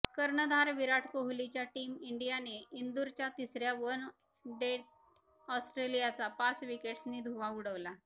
कर्णधार विराट कोहलीच्या टीम इंडियाने इंदूरच्या तिसर्या वन डेत ऑस्ट्रेलियाचा पाच विकेट्सनी धुव्वा उडवला